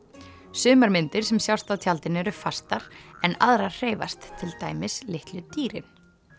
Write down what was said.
sumar myndir sem sjást á tjaldinu eru fastar en aðrar hreyfast til dæmis litlu dýrin